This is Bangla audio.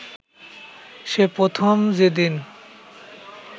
সে প্রথম যেদিন